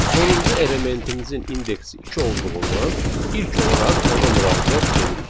Sonuncu elementimizin indeksi iki olduğundan ilk olaraq ona müraciət edirik.